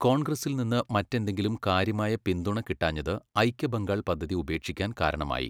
കോൺഗ്രസ്സിൽ നിന്ന് മറ്റെന്തെങ്കിലും കാര്യമായ പിന്തുണ കിട്ടാഞ്ഞത് ഐക്യബംഗാൾ പദ്ധതി ഉപേക്ഷിക്കാൻ കാരണമായി.